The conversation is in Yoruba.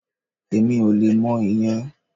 Èmi ò le mọ ìyẹn